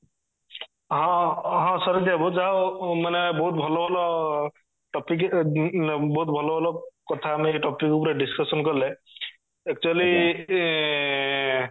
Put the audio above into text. ହଁ ହଁ ଶାରିତ ବାବୁ ଯାହା ହଉ ମାନେ ବହୁତ ଭଲ ଭଲ topic ଉଁ ବହୁତ ଭଲ ଭଲ କଥା ଆମେ ଏଇ topic ଉପରେ discussion କଲେ actually ଏଁ